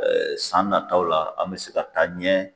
san nataaw la an mɛ se ka taa ɲɛ.